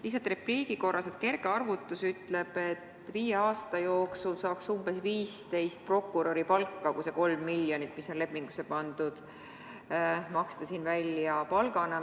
Lihtsalt repliigi korras: kerge arvutus ütleb, et viie aasta jooksul saaks umbes 15 prokuröripalka, kui see kolm miljonit, mis seal lepingusse pandud, maksta siin välja palgana.